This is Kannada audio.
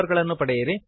ಗಳನ್ನು ಪಡೆಯಿರಿ